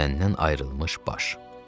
Bədəndən ayrılmış baş.